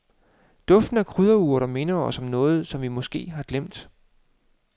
Duften af krydderurter minder os om noget, som vi måske har glemt.